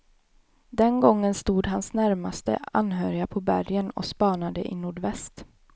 Den gången stod hans närmaste anhöriga på bergen och spanade i nordväst.